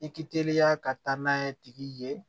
I k'i teliya ka taa n'a ye tigi ye